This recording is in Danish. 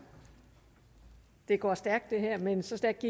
det går stærkt det her men så stærkt